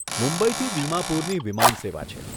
મુંબઈથી દિમાપુરની વિમાન સેવા છે.